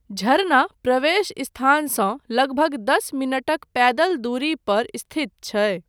झरना प्रवेश स्थानसँ लगभग दस मिनटक पैदल दूरी पर स्थित छै।